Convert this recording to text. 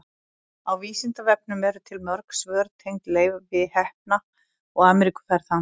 á vísindavefnum eru til mörg svör tengd leifi heppna og ameríkuferð hans